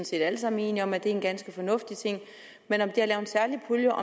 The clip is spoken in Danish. set alle sammen enige om er en ganske fornuftig ting men om det at lave en særlig pulje